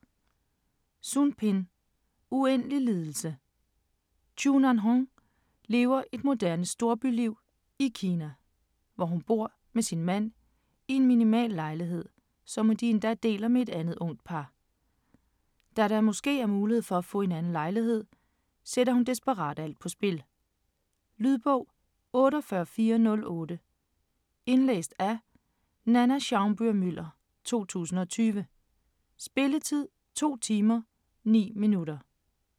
Sun, Pin: Uendelig lidelse Chu Nanhong lever et moderne storbyliv i Kina, hvor hun bor med sin mand i en minimal lejlighed, som de endda deler med et andet ungt par. Da der måske er mulighed for få en anden lejlighed, sætter hun desperat alt på spil. Lydbog 48408 Indlæst af Nanna Schaumburg-Müller, 2020. Spilletid: 2 timer, 9 minutter.